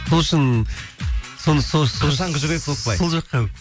сол үшін сол жаққа